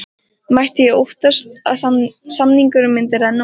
Myndi ég óttast að samningurinn myndi renna út?